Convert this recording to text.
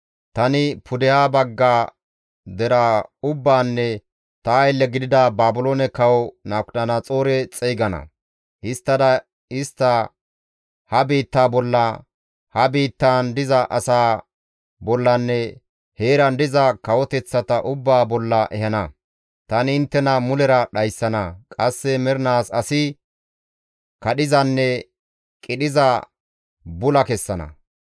tani pudeha bagga deraa ubbaanne ta aylle gidida Baabiloone kawo Nabukadanaxoore xeygana. Histtada istta ha biitta bolla, ha biittan diza asaa bollanne heeran diza kawoteththata ubbaa bolla ehana; tani inttena mulera dhayssana; qasse mernaas asi kadhizanne qidhiza bula kessana.